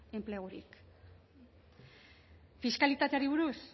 enplegurik fiskalitateari buruz